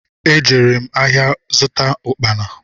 E jere m áhiá zụta ukpana.